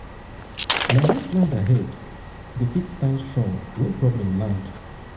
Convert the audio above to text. na who plan ahead go fit stand strong when problem land.